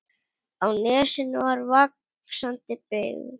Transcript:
Á nesinu er vaxandi byggð.